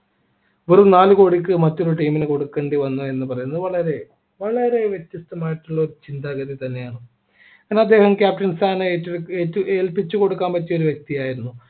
വെറും നാല് കോടിക്ക് മറ്റൊരു team ന് കൊടുക്കേണ്ടി വന്നു എന്ന് പറയുന്നത് വളരെ വളരെ വ്യത്യസ്തമായിട്ടുള്ള ഒരു ഒരു ചിന്താഗതി തന്നെയാണ് എന്നാൽ അദ്ദേഹം captain ഏറ്റെടുക്കു ഏറ്റു ഏറ്റു ഏൽപ്പിച്ചു കൊടുക്കാൻ പറ്റിയ ഒരു വ്യക്തിയായിരുന്നു